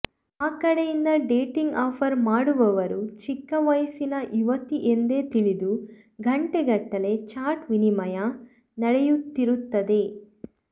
ಆ ಕಡೆಯಿಂದ dating offer ಮಾಡುವವರು ಚಿಕ್ಕ ವಯಸ್ಸಿನ ಯುವತಿ ಎಂದೇ ತಿಳಿದು ಗಂಟೆಗಟ್ಟಲೆ ಚಾಟ್ ವಿನಿಮಯ ನಡೆಯುತ್ತಿರುತ್ತದೆ